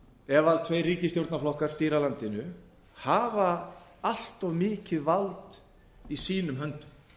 ef tveir ríkisstjórnarflokkar stýra landinu hafa allt of mikið vald í sínum höndum